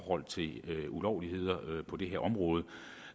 ulovligheder på det her område